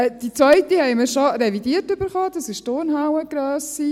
Die Zweite haben wir schon revidiert erhalten, das ist die Turnhallengrösse.